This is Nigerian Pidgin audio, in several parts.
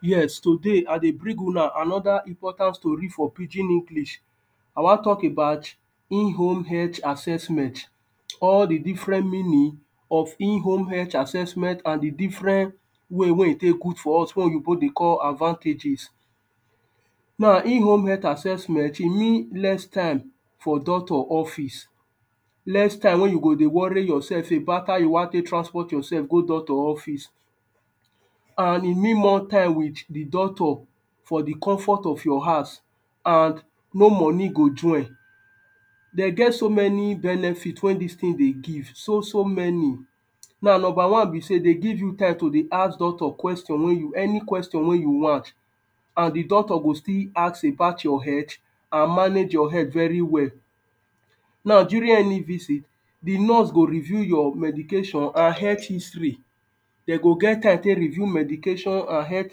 Yes, today I dey bring huna another important story for pidgin English. I wan talk about in-home health assessment. All the different meaning of in-home health assessment and the different way wey e take good for us, wey oyinbo dey call advantages. Now, in-home health assessment e means less time for doctor office. Less time wey you go dey worry yourself about how you wan take transport yourself go doctor office. And e mean more time with the doctor for the comfort of your house and no money go join They get so many benefits wey dis thing they give, so, so many. Now, number one be sey, e dey give you time to dey ask doctor question wey you, any question wey you want. And the doctor go still ask about your health and manage your health very well. Now, during any visit, the nurse go review your medication and health history They go get time take review medication and health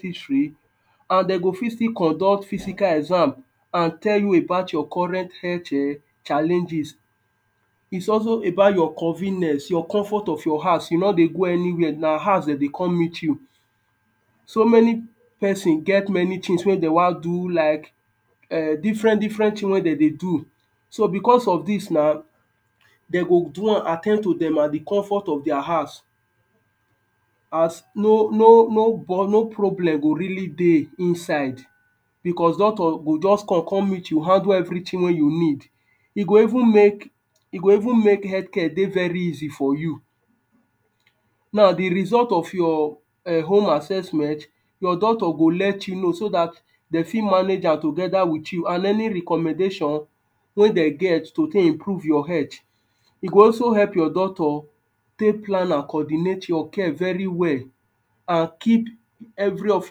history and they go fit still conduct physical exam and tell you about your current health er challenges. It's also about your convenience, your comfort of your house. You no dey go anywhere, na house dem dey come meet you. So many person get many things wey they wan do like er different different things wey dem they do. So, because of this now, dem go do am, at ten d to dem at the comfort of their house As no, no, no, no problem go really dey inside because doctor go just come come meet you, handle everything wey you need. E go even make, e go even make health care dey very easy for you. Now, the result of your erm home assessment, your doctor go let you know so dat dem fit manage am together with you and any recommendation wey dem get to take improve your health. E go also help your doctor take plan and coordinate your care very well and keep every of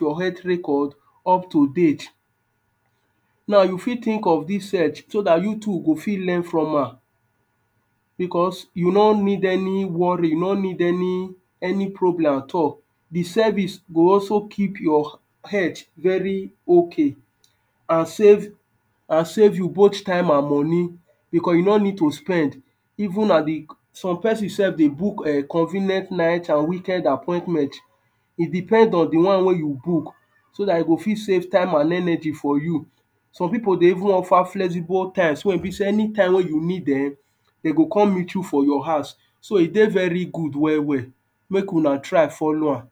your health record up to date. Now, you fit think of dis search so dat you too go fit learn from am because you no need any worry, you no need any any problem at all. The service go also keep your health very okay and save and save you both time and money because you no need to spend. Evem at the some person self dey book erm convenient night and weekend appointment. It depend on the one wey you book so dat e go fit save time and energy for you Some people dey even offer flexible time, so e be sey anytime when you need dem, they go come meet you for your house. So, e dey very good well well. Make huna try follow am.